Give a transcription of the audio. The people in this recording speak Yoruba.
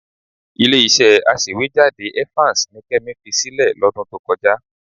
Ilé-iṣẹ́ aṣèwéjádé Evans ni Kẹ́mi fi sílẹ̀ lọ́dún tó kọjá.